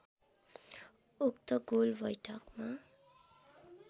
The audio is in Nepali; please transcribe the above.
उक्त गोल वैठकमा